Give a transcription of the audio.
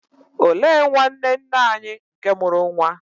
Olee nwanne nne anyi nke mụrụ nwa?